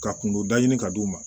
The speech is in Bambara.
Ka kungo da ɲini ka d'u ma